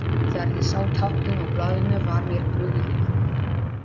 Þegar ég sá táknin á blaðinu var mér brugðið.